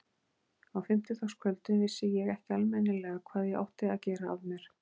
Á fimmtudagskvöldum vissi ég ekki almennilega hvað ég átti að gera af mér.